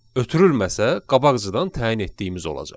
Ötürülməsə, qabaqcadan təyin etdiyimiz olacaq.